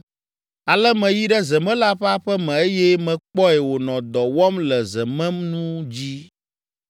Ale meyi ɖe zemela ƒe aƒe me eye mekpɔe wònɔ dɔ wɔm le zemenu dzi.